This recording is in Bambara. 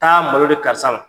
Taa malo di karisa ma.